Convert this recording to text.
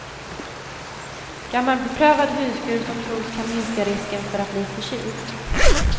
Gammal beprövad huskur som tros kan minska risken för att bli förkyld.